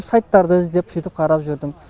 сайттарды іздеп сөйтіп қарап жүрдім